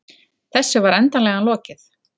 Þessu var endanlega lokið.